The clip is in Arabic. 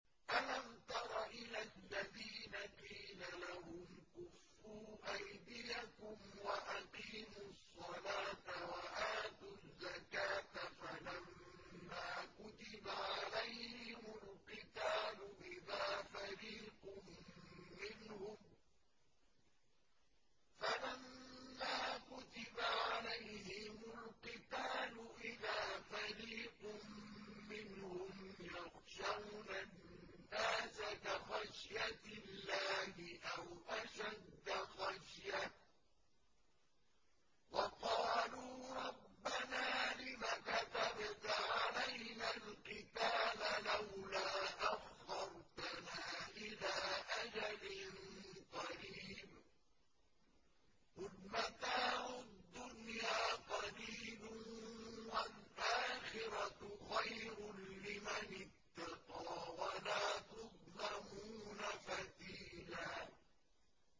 أَلَمْ تَرَ إِلَى الَّذِينَ قِيلَ لَهُمْ كُفُّوا أَيْدِيَكُمْ وَأَقِيمُوا الصَّلَاةَ وَآتُوا الزَّكَاةَ فَلَمَّا كُتِبَ عَلَيْهِمُ الْقِتَالُ إِذَا فَرِيقٌ مِّنْهُمْ يَخْشَوْنَ النَّاسَ كَخَشْيَةِ اللَّهِ أَوْ أَشَدَّ خَشْيَةً ۚ وَقَالُوا رَبَّنَا لِمَ كَتَبْتَ عَلَيْنَا الْقِتَالَ لَوْلَا أَخَّرْتَنَا إِلَىٰ أَجَلٍ قَرِيبٍ ۗ قُلْ مَتَاعُ الدُّنْيَا قَلِيلٌ وَالْآخِرَةُ خَيْرٌ لِّمَنِ اتَّقَىٰ وَلَا تُظْلَمُونَ فَتِيلًا